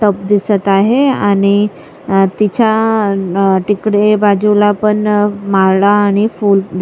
cup दिसत आहे आणि तिच्या न तिकडे बाजूला पण माळा आणि फूल दि--